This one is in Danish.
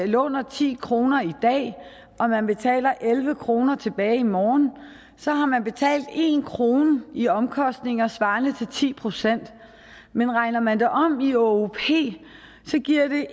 låner ti kroner i dag og man betaler elleve kroner tilbage i morgen så har man betalt en krone i omkostninger svarende til ti procent men regner man det om i åop giver det